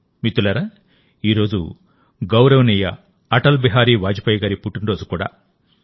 మిత్రులారాఈరోజు గౌరవనీయ అటల్ బిహారీ వాజ్పేయి గారి పుట్టినరోజు కూడా